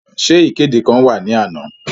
Ṣe ikede kan wa ni ana?